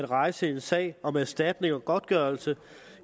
at rejse en sag om erstatning og godtgørelse